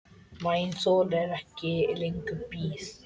Maginn þolir ekki lengur bið.